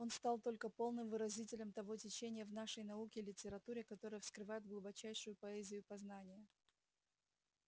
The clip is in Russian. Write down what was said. он стал только полным выразителем того течения в нашей науке и литературе которое вскрывает глубочайшую поэзию познания